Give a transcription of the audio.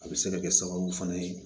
A bɛ se ka kɛ sababu fana ye